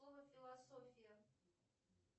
слово философия